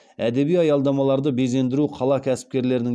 әдеби аялдамаларды безендіру қала кәсіпкерлерінің